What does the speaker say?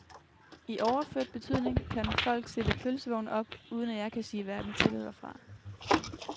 I overført betydning kan folk stille pølsevogne op, uden at jeg kan sige hverken til eller fra.